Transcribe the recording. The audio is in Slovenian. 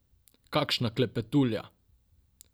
Kakšna klepetulja!